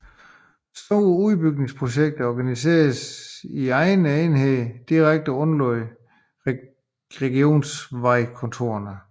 Store udbygningsprojekter organiseres i egne enheder direkte underlagt regionsvejkontorene